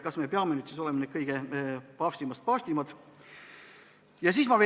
Kas me peame nüüd olema paavstist paavstimad?